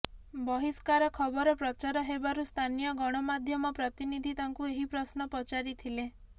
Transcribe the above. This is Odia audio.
ବହିଷ୍କାର ଖବର ପ୍ରଚାର ହେବାରୁ ସ୍ଥାନୀୟ ଗଣମାଧ୍ୟମ ପ୍ରତିନିଧି ତାଙ୍କୁ ଏହି ପ୍ରଶ୍ନ ପଚାରିଥିଲେ